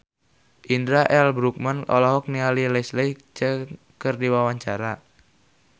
Indra L. Bruggman olohok ningali Leslie Cheung keur diwawancara